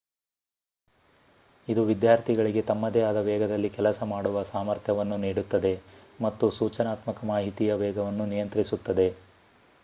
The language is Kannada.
ಇದು ವಿದ್ಯಾರ್ಥಿಗಳಿಗೆ ತಮ್ಮದೇ ಆದ ವೇಗದಲ್ಲಿ ಕೆಲಸ ಮಾಡುವ ಸಾಮರ್ಥ್ಯವನ್ನು ನೀಡುತ್ತದೆ ಮತ್ತು ಸೂಚನಾತ್ಮಕ ಮಾಹಿತಿಯ ವೇಗವನ್ನು ನಿಯಂತ್ರಿಸುತ್ತದೆ